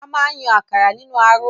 A máa n yàn àkàrà nínú aró.